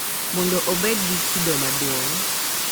Mondo obed gi kido maduong’.